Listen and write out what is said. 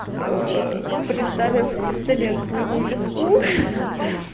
приставив пистолет к моему виску ха